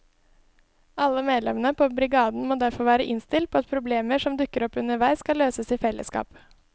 Alle medlemmene på brigaden må derfor være innstilt på at problemer som dukker opp underveis skal løses i fellesskap.